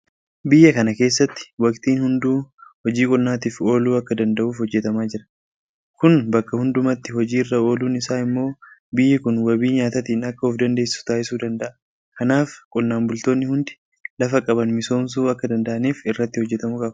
Biyya kana keessatti waktiin hunduu hojii qonnaatiif ooluu akka danda'uuf hojjetamaa jira. Kun bakka hundumatti hojii irra ooluun isaa immoo biyyi kun wabii nyaataatiin akka ofdandeessu taasisuu danda'a. Kanaaf qonnaan bultoonni hundi lafa qaban misoomsuu akka danda'aniif irratti hojjetamuu qaba.